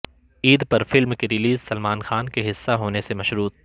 عید پر فلم کی ریلیز سلمان خان کے حصہ ہونے سے مشروط